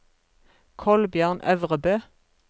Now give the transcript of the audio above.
Kolbjørn Øvrebø